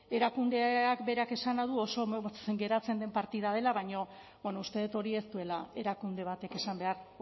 erakundeak berak esana du oso motz geratzen den partida dela baina bueno uste dut hori ez duela erakunde batek esan behar